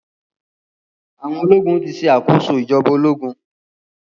Awọn ológun ti ṣe àkóso ìjọba ológun.